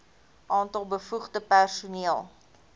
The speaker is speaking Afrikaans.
aantal bevoegde personeel